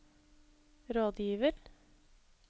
rådgiver